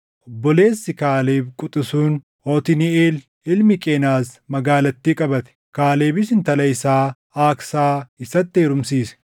Obboleessi Kaaleb quxisuun, Otniiʼeel ilmi Qenaz magaalattii qabate; Kaalebis intala isaa Aaksaa isatti heerumsiise.